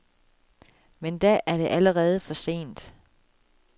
Men da er det allerede for sent.